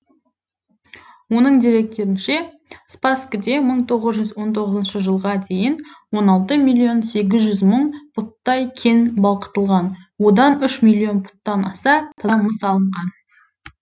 оның деректерінше спасскіде мың тоғыз жүз он тоғызыншы жылға дейін он алты миллион сегіз жүз мың пұттай кен балқытылған одан үш миллион пұттан аса таза мыс алынған